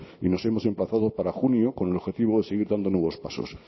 y nos hemos emplazado para junio con el objetivo de seguir dando nuevos pasos